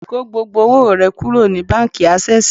Kó gbogbo owó rẹ kúrò ní báńkì Ásẹ́sìì